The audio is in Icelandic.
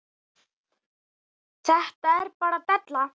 Þetta er bara della.